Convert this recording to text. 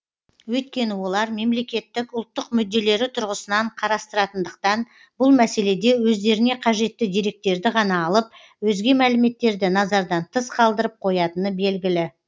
өйткені олар мемлекеттік ұлттық мүдделері тұрғысынан қарастыратындықтан бұл мәселеде өздеріне қажетті деректерді ғана алып өзге мәліметтерді назардан тыс қалдырып қоятыны белгілі